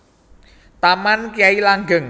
Taman Kyai Langgeng